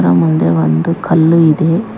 ಅದರ ಮುಂದೆ ಒಂದು ಕಲ್ಲು ಇದೆ.